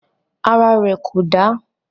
Ara rẹ̀ kò dà.